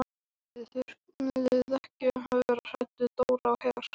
Þið þurfið ekki að vera hrædd við Dóra á Her.